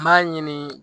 N b'a ɲini